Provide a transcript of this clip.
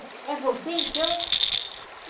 É você, então?